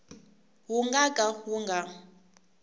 wu nga ka wu nga